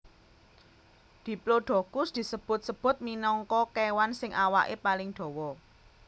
Diplodocus disebut sebut minangka kewan sing awake paling dawa